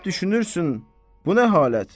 Həp düşünürsən, bu nə halət?